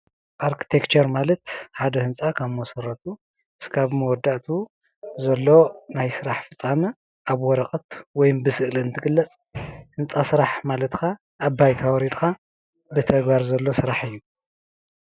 ኣርቲክቸር ማለት ሓደ ህንፃ ካብ መሰረቱ ክሳብ መወዳእትኡ ዘሎ ናይ ስራሕ ፍፃመ ኣብ ወረቐት ወይም ብስእሊ እንትግለፅ ህንፃ ስራሕ ማለት ከኣ ኣብ ባይታ ወሪድካ ብተግባር ዘሎ ስራሕ እዩ፡፡